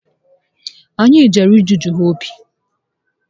Anyị jere ịgụgụ ha obi